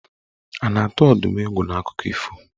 A na-atụ Ọdụm egwu n'akụkọ ifo?